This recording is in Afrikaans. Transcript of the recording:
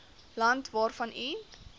land waarvan u